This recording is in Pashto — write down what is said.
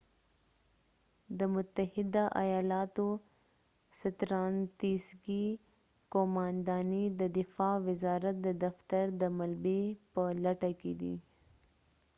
د متحده ایالاتو ستراتیژیکي قومانداني د دفاع وزارت دفتر د ملبې په لټه کی دی